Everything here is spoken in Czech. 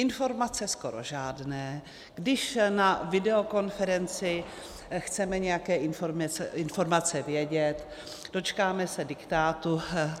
Informace skoro žádné, když na videokonferenci chceme nějaké informace vědět, dočkáme se diktátu.